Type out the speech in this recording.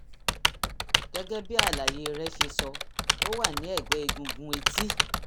gẹ́gẹ́ bí àlàyé rẹ ṣe sọ ó wà ní ẹ̀gbẹ́ egungun etí